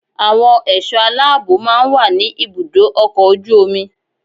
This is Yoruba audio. Àwọn ẹ̀ṣọ́ aláàbò máa ń wà ní ibùdó ọkọ̀ ojú omi